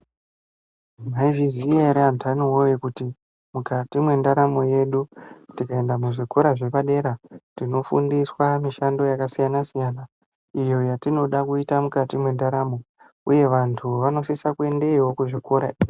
Maizviziva here kuti andani woye kuti mukati mendaramo yedu tikaenda muzvikora zvepadera tinofundiswa uye vantu avo vanosisa kuendayo.